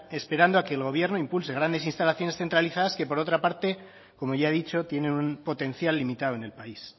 esperando a que el gobierno impulse grandes instalaciones centralizadas que por otra parte como ya he dicho tienen un potencial limitado en el país